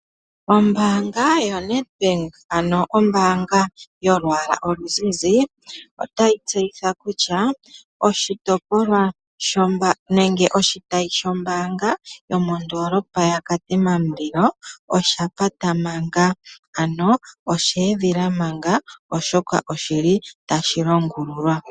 Ombanga yo NedBank ano ombanga yolwala oluzizi, otayi tseyitha kutya oshitopolwa nenge oshitayi sho mbanga yomondolopa ya Katima mulilo, osha pata manga ano osha edhila manga oshoka oshili tashi longulululwa.